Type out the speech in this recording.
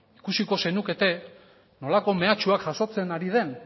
ikusiko zenukete nolako mehatxuak jasotzen ari den